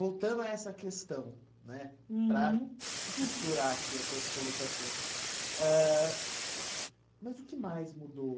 Voltando a essa questão né, uhum, para costurar aqui as suas colocações ãh, mas o que mais mudou?